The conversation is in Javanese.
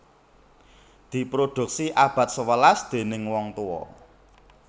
Diproduksi abad sewelas déning wong tuwa